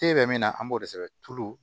Te bɛ min na an b'o de sɛbɛn tulo